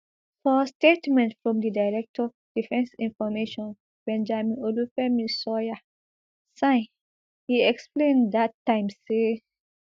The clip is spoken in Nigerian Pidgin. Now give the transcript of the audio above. for statement from di director defence information benjamin olufemi sawyerr sign e explain dat time say